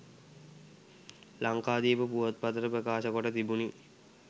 ලංකාදීප පුවත්පතට ප්‍රකාශ කොට තිබුණි